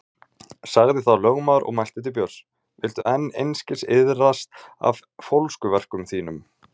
Sagði þá lögmaður og mælti til Björns: Viltu enn einskis iðrast af fólskuverkum þínum?